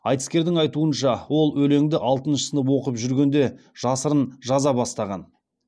айтыскердің айтуынша ол өлеңді алтыншы сынып оқып жүргенде жасырын жаза бастаған